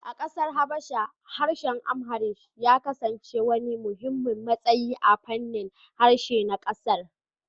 A kasar Habasha, harshen Amharic ya kasance wani muhimmin matsayi a fannin harshe na kasar